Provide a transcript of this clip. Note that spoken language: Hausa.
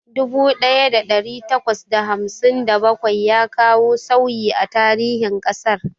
Dubu ɗaya da ɗari takwas da hamsin da bakwai ya kawo sauyi a tarihin ƙasar.